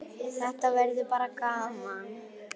Þetta verður bara gaman.